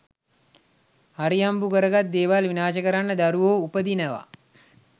හරිහම්බු කරගත් දේවල් විනාශ කරන්න දරුවෝ උපදිනවා